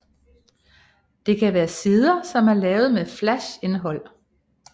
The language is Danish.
Det kan være sider som er lavet med flash indhold